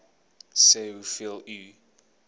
sê hoeveel u